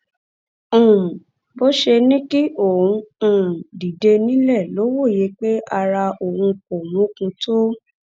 um bó ṣe ní kí òun um dìde nílé ló wòye pé ara òun kò mókun tó